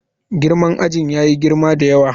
Girman ajin yayi girma da yawa.